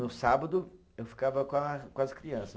No sábado, eu ficava com a, com as crianças.